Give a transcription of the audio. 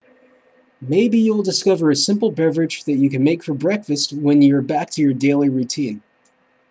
maybe you'll discover a simple beverage that you can make for breakfast when you're back to your daily routine